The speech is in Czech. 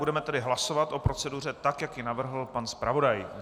Budeme tedy hlasovat o proceduře, tak jak ji navrhl pan zpravodaj.